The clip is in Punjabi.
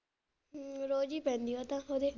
ਹਮ ਰੋਜ ਹੀ ਪੈਂਦੀ ਆ ਉਹ ਤਾਂ ਓਹਦੇ।